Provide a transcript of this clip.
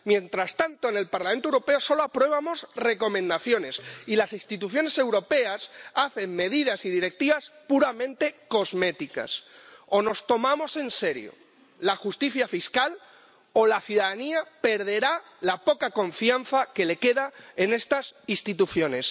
Mientras tanto, en el Parlamento Europeo solo aprobamos recomendaciones y las instituciones europeas adoptan medidas y directivas puramente cosméticas. O nos tomamos en serio la justicia fiscal o la ciudadanía perderá la poca confianza que le queda en estas instituciones.